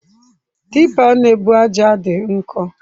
Tipper na-ebu ájá dị nkọ.